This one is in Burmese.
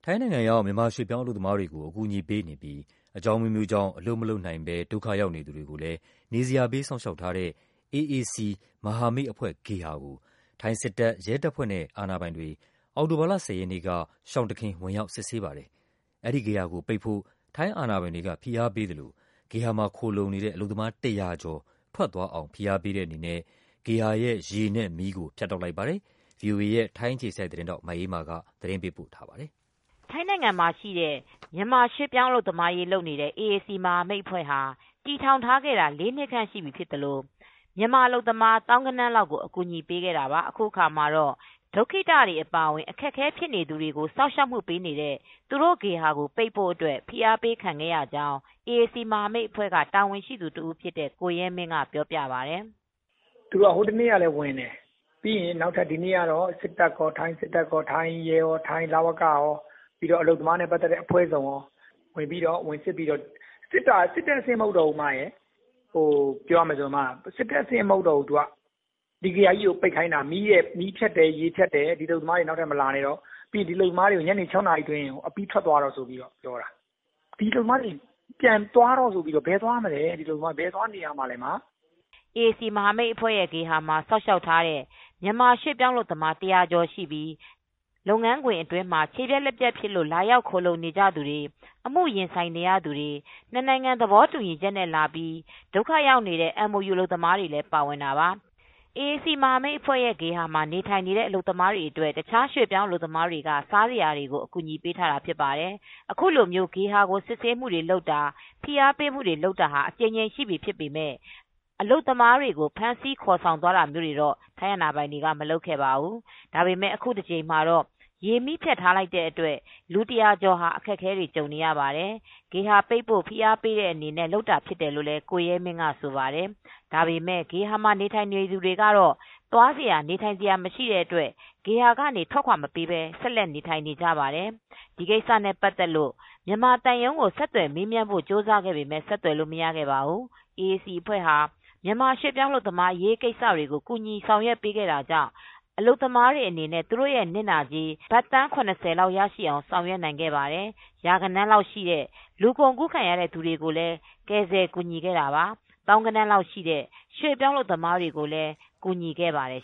ိုင်းနိုင်ငံရောက် မြန်မာရွှေ့ပြောင်းအလုပ်သမားတွေကို အကူအညီပေးနေပြီး အကြောင်းအမျိုးမျိုးကြောင့် အလုပ် မလုပ်နိုင်သူတွေကိုလည်း နေစရာပေး စောင့်ရှောက်ထားတဲ့ ဘန်ကောက်မြို့တော်က AAC မဟာမိတ်အဖွဲ့ဂေဟာကို ထိုင်းစစ်တပ်၊ ရဲတပ်ဖွဲ့နဲ့ အာဏာပိုင် တွေ အောက်တိုဘာလ ၁၀ ရက်နေ့က ရှောင်တခင် ဝင်ရောက် စစ်ဆေးပါတယ်။ အဲဒီဂေဟာကိုပိတ်ဖို့ ထိုင်းအာဏာပိုင်တွေက ဖိအားပေးသလို ဂေဟာမှာခိုလှုံနေတဲ့ အလုပ်သမား ၁၀၀ ကျော် ထွက်သွားအောင် ဖိအားပေးတဲ့အနေနဲ့ ဂေဟာရဲ့ ရေနဲ့မီးကို ဖြတ်တောက်လိုက်ပါတယ်။ ဗွီအိုအေ ထိုင်းအခြေစိုက်သတင်းထောက် မအေးမာက သတင်းပေးပို့ထားပါတယ်။ ထိုင်းနိုင်ငံမှာရှိတဲ့ ရွှေ့ပြောင်းအလုပ်သမားရေးလုပ်နေတဲ့ အေအေစီမဟာမိတ်အဖွဲ့ကို တည်ထောင်ခဲ့တာ လေးနှစ်ကြာရှိနေသလို အလုပ်သမားသောင်းဂဏန်းချီပြီး အကူညီပေးနိုင်ခဲ့ပါတယ်။ အခုအခါမှာတော့ ဒုက္ခိတတွေ အပါအဝင် အခက်အခဲဖြစ်နေ သူတွေကိုစောင့်ရှောက်ဖို့ ဖွင့်လှစ်ထားတဲ့ ဂေဟာကို ပိတ်ဖို့အတွက် ဖိအားပေးခံခဲ့ရကြောင်း အေအေစီမဟာမိတ်အဖွဲ့ တာဝန်ရှိသူတဦးဖြစ်တဲ့ ကိုရဲမင်းက ဗွီအိုအေကို ပြောပါတယ်။ "ဟိုတနေ့ ကလည်းလာတယ်။ ဒီနေ့ကတော့ စစ်တပ်ရော၊ ထိုင်းရဲရော၊ လဝကရော အလုပ်သမားနဲ့ ပတ်သက်တဲ့ အဖွဲ့ စုံရော ဝင်စစ်တယ်။ ဒါပေမယ့် ဝင်စစ်တဲ့အဆင့် မဟုတ်တော့ဘူး။ ဒီဂေဟာကို ပိတ်ခိုင်းတာ။ အလုပ်သမားတွေကို ညနေ ၆နာရီအတွင်း ထွက်ခွာဖို့ အတွက်ပြောတာ။ အလုပ်သမားတွေ ဘယ်သွားနေရမလဲ။" အေအေစီမဟာမိတ်အဖွဲရဲ့ ဂေဟာမှာ စောင့်ရှောက်ထားတဲ့ ရွှေ့ပြောင်းအလုပ်သမား ၁၀၀ကျော်ရှိပြီး လုပ်ငန်းခွင်မှာ ခြေပြတ်၊ လက်ပြတ်ဖြစ်လို့လာရောက်ခိုလှုံနေသူတွေ၊ အမှုရင်ဆိုင်နေရသူတွေ၊ နှစ်နိုင်ငံသဘောတူညီချက်နဲ့လာပြီး ဒုက္ခရောက်နေတဲ့ MOU အလုပ်သမားတွေ လည်းပါဝင်တာပါ။ အေအေစီမဟာမိတ်အဖွဲရဲ့ ဂေဟာမှာနေထိုင်နေတဲ့ အလုပ်သမားတွေအတွက် တခြားရွှေ့ပြောင်းအလုပ်သမားတွေက စားစရာတွေကို အကူညီပေးထားတာဖြစ်ပါတယ်။ အခုလို ဂေဟာကို စစ်ဆေးတာ၊ ဖိအားပေးတာ အကြိမ်ကြိမ်ရှိပြီဖြစ်ပေမဲ့ အလုပ်သမားတွေကို ဖမ်းခေါ်သွားတာာမျိုးတွေတော့ မလုပ်ခဲ့ပါဘူး။ ဒါပေမဲ့အခုတကြိမ်မှာ ရေမီးဖြတ်ထားတဲ့အတွက် လူ ၁၀၀ကျော်ဟာ အခက်အခဲတွေကြုံနေရပါတယ်။ ဂေဟာပိတ်ဖို့ ဖိအားပေးတဲ့အနေနဲ့ လုပ်တာဖြစ်တယ်လို့လည်း ကိုရဲမင်းက ဆိုပါတယ်။ ဒါပေမဲ့ ဂေဟာမှာ နေထိုင်နေသူတွေကတော့ သွားစရာနေထိုင် စရာမရှိတဲ့အတွက် ဂေဟာကနေ ထွက်ခွါမပေးပဲနေထိုင်နေကြပါတယ်။ ဒီကိစ္စနဲ့ ပတ်သက်လို့မြန်မာသံရုံးကို ဆက်သွယ်မေးမြန်းဖို့ကြိုးစားခဲ့ပေမဲ့ ဆက်သွယ်လို့မရခဲ့ပါဘူး။ အေအေစီအဖွဲ့ဟာ မြန်မာရွှေပြောင်းအလုပ်သမားအရေး ကိစ္စတွေကို ကူညီဆောင်ရွက်ပေးတာကြောင့် အလုပ်သမားတွေအနေနဲ့ သူတို့ရဲ့နစ်နာကြေး ဘတ်သန်း (၇၀) လောက်ထိရရှိအောင် ဆောင်ရွက်ခဲ့ပါတယ်။ ရာဂဏန်းလောက်ရှိတဲ့ လူကုန်ကူးခံရတဲ့ သူတွေကိုလည်း ကယ်ဆယ်ကူညီခဲ့တာပါ။ သောင်းဂဏန်းရှိတဲ့ ရွှေ့ပြောင်းအလုပ်သမားတွေကိုလည်း ကူညီခဲ့ပါတယ်